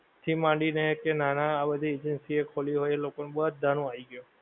C માંડી ને કે નાના આ બધી agency એ ખોલી હોએ એ લોકો નું બધાં નું આઈ ગયું